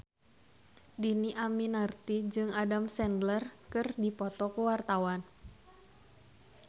Dhini Aminarti jeung Adam Sandler keur dipoto ku wartawan